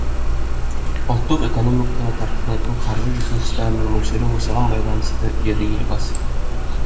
ұлттық экономикаға тартылатын қаржы ресурстарының мөлшері осыған байланысты деді елбасы